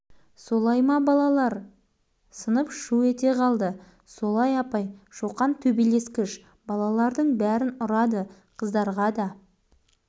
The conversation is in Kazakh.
апай қолын көтерді сынып тына қалды бәрі түсінікті болды балалар өздерің айтындаршы соңда не істеуіміз керек